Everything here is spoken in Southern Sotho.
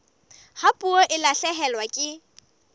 ha puo e lahlehelwa ke